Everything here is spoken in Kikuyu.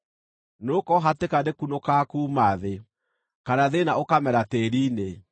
Nĩgũkorwo hatĩka ndĩkunũkaga kuuma thĩ, kana thĩĩna ũkamera tĩĩri-inĩ.